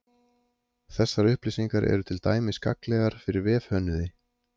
Þessar upplýsingar eru til dæmis gagnlegar fyrir vefhönnuði.